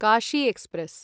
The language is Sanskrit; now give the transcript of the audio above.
काशी एक्स्प्रेस्